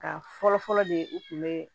Ka fɔlɔfɔlɔ de ye u kun bɛ